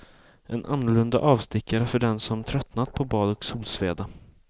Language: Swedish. En annorlunda avstickare för den som tröttnat på bad och solsveda.